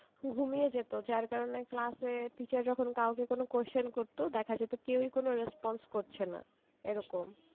ঘুমিয়ে যেত যার কারনে class এ teacher যখন কাউকে কোনো question করতো দেখা যেত কেউই কোনো response করছে না এরকম।